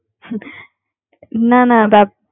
না না